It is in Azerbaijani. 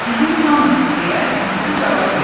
Bizim hamımız, deyə anası cavab verdi.